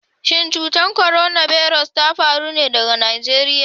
Shin cutar korona birus ta faro ne daga Najeriya?